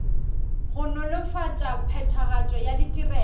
go nolofatša phethagatšo ya ditirelo